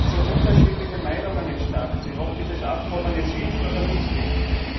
so unterschiedliche Meinungen entstanden sind, ob dieses Abkommen jetzt hilft oder nicht hilft.